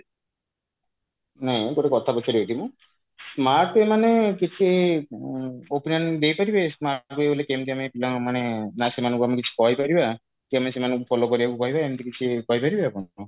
ନାଇଁ ଗୋଟେ କଥା ପଚାରିବି ଏଇଠି ମୁଁ smart way ମାନେ କିଛି ଉଁ opinion ଦେଇପାରିବେ smart way ରେ କେମିତି ଆମେ ପିଲାଙ୍କୁ ମାନେ ନା ସେମାନଙ୍କୁ ଆମେ କିଛି କହିପାରିବା କେମିତି ସେମାନଙ୍କୁ follow କରିବାକୁ କହିବା ଏମିତି କିଛି କହିପାରିବେ ଆପଣ କଣ